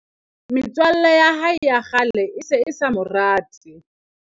metswalle ya hae ya kgale e se e sa mo rate